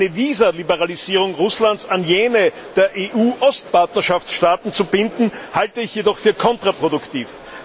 Eine Visaliberalisierung Russlands an jene der EU Ostpartnerschaftsstaaten zu binden, halte ich jedoch für kontraproduktiv.